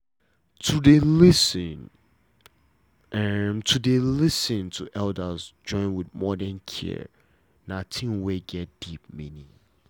to dey lis ten to dey lis ten to elders join with modern care na thing wey get deep meaning